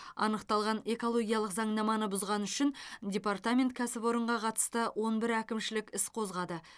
анықталған экологиялық заңнаманы бұзғаны үшін департамент кәсіпорынға қатысты он бір әкімшілік іс қозғады